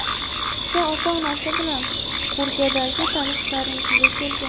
Qizcha ota-onasi bilan Kurgandagi tanishlarinikiga kelgan.